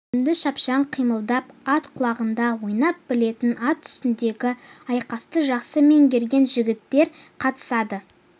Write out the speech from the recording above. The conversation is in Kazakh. төзімді шапшаң қимылдап ат құлағында ойнай білетін ат үстіндегі айқасты жақсы меңгерген жігіттер қатысады